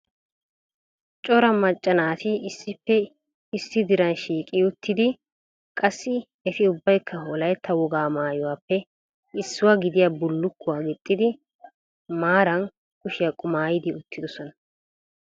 Coraa macca naati issippe issi diran shiiqi uttidi, qassi eti ubbaykka Wolaytta wogaa maayyuwappe issuwaa gidiyaa bullukuwaa gixiddi maara kushiyaa qumayyidi uttidoosona.